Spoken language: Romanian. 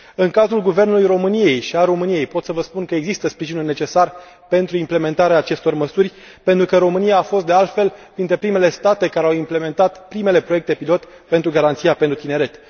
În cadrul Guvernului României și al României pot să vă spun că există sprijinul necesar pentru implementarea acestor măsuri, pentru că România a fost, de altfel, printre primele state care au implementat primele proiecte pilot pentru garanția pentru tineret.